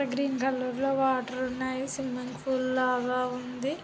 Green colour water ఉంది swimming pool లాగా ఉంది.